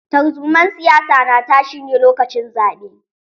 Tarzumar siyasa na tashi ne lokacin zaɓe.